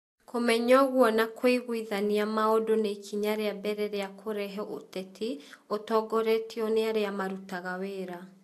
Kũmenya ũguo na kũiguithania maũndũ nĩ ikinya rĩa mbere rĩa kũrehe ũteti ũtongoretio nĩ arĩa marutaga wĩra.